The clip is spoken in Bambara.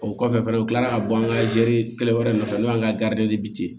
O kɔfɛ fana u tilara ka bɔ an ka kelen wɛrɛ nɔfɛ n'o y'an ka